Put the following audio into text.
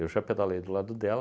já pedalei do lado dela,